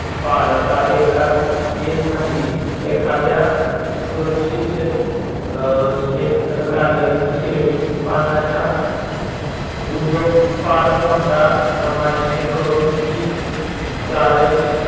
पाळता येता येत नाहीत. एखाद्या सुरक्षित क्षे क्षेत्र कार्यालय शेळीत पालनाच्या उद्योग फार मोठा प्रमाणाने करून तीन तारेश